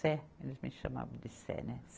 Cé, eles me chamavam de Cé, né?